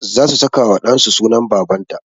Za su saka wa ɗan su sunan baban ta